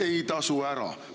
Ei tasu ära!